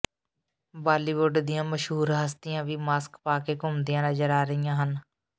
ਬਾਲੀਵੁੱਡ ਦੀਆਂ ਮਸ਼ਹੂਰ ਹਸਤੀਆਂ ਵੀ ਮਾਸਕ ਪਾ ਕੇ ਘੁੰਮਦੀਆਂ ਨਜ਼ਰ ਆ ਰਹੀਆਂ ਹਨ